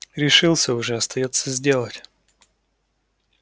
решился уже остаётся сделать